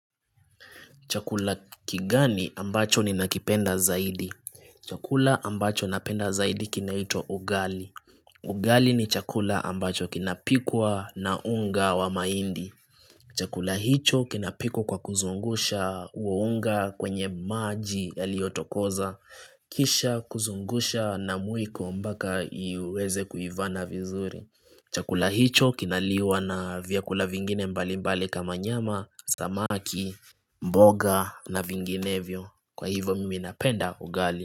Chakula kigani ambacho ni nakipenda zaidi Chakula ambacho napenda zaidi kinaitwa ugali Ugali ni chakula ambacho kinapikwa na unga wa mahindi Chakula hicho kinapikwa kwa kuzungusha huo unga kwenye maji yaliotokoza Kisha kuzungusha na mwiko mpaka iweze kuivana vizuri Chakula hicho kinaliwa na vyakula vingine mbali mbali kama nyama Samaki, mboga na vinginevyo Kwa hivo mimi napenda ugali.